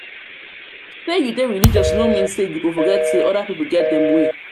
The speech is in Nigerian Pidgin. sey you dey religious no mean say you go forget sey other pipu get dem way.